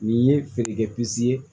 Nin ye feerekɛ pis ye